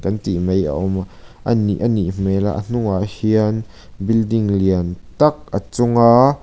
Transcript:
an tih mai a awm a anih anih hmel a a hnungah hian building lian tak a chunga--